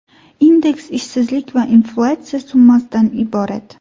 Indeks ishsizlik va inflyatsiya summasidan iborat.